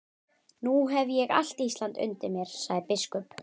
Nú hef ég allt Ísland undir mér, sagði biskup.